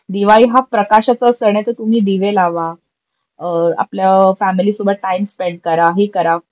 दिवाळी हा प्रकाशाचा सन आहे तर तुम्ही दिवे लावा, आपलं फैमिलीसोबत टाईम स्पेंड करा, हे करा,